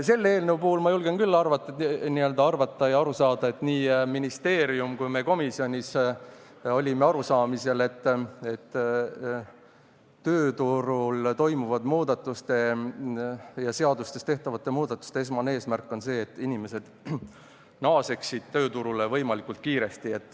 Selle eelnõu puhul ma julgen küll arvata, n-ö arvata ja aru saada selliselt: nii ministeerium kui ka meie komisjonis olime arusaamisel, et tööturul toimuvate muudatuste ja seadustes tehtavate muudatuste esmane eesmärk on see, et inimesed naaseksid tööturule võimalikult kiiresti.